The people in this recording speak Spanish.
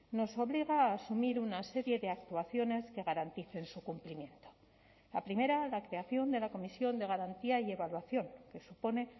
nos obliga a asumir una serie de actuaciones que garanticen su cumplimiento la primera la creación de la comisión de garantía y evaluación que supone